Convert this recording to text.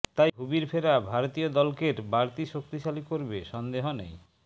তাই ভুবির ফেরা ভারতীয় দলকের বাড়তি শক্তিশালী করবে সন্দেহ নেই